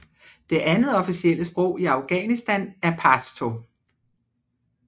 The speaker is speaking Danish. Det andet officielle sprog i Afghanistan er pashto